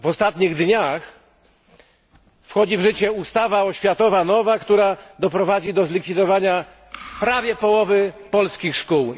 W ostatnich dniach wchodzi w życie nowa ustawa oświatowa, która doprowadzi do zlikwidowania prawie połowy polskich szkół.